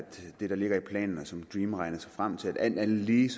det der ligger i planen og som dream regner sig frem til alt andet lige